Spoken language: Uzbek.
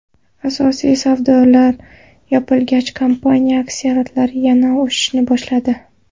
Asosiy savdolar yopilgach, kompaniya aksiyalari yana o‘sishni boshladi.